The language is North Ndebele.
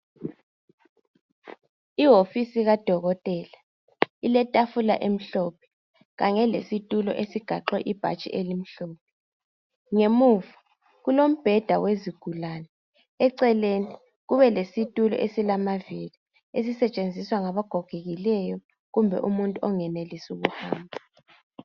Ihofisi kadokotela iletafula emhlophe kanye lesitulo esigaxwe ibhatshi elimhlophe, ngemuva kulombheda wezigulane. Eceleni kube lesitulo esilamavili ezisetshenziswa ngaba gogekileyo kumbe umuntu ongenelisi ukuhamba.